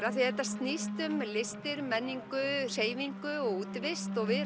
af því þetta snýst um listir menningu hreyfingu og útivist og við